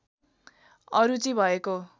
अरुचि भएको